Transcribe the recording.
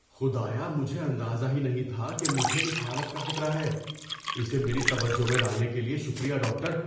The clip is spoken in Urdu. خدایا! مجھے اندازہ ہی نہیں تھا کہ مجھے اس حالت کا خطرہ ہے۔ اسے میری توجہ میں لانے کے لیے شکریہ، ڈاکٹر۔